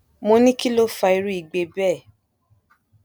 mo ní kí ló fa irú igbe bẹẹ